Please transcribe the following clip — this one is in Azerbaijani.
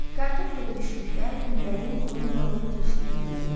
Kartof yerə düşdükdə güllənin onu yalıyıb keçdiyi bilindi.